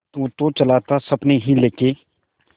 तू तो चला था सपने ही लेके